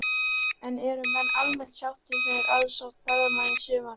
En eru menn almennt sáttir með aðsókn ferðamanna í sumar?